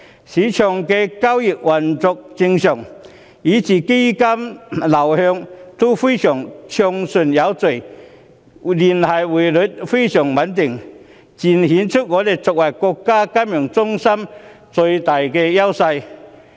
市場的交易運作正常，基金流向也非常暢順有序，聯繫匯率非常穩定，正正顯示香港作為國家金融中心的最大優勢。